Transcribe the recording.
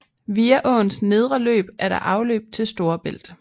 Via åens nedre løb er der afløb til Storebælt